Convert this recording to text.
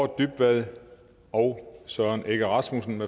dybvad og søren egge rasmussen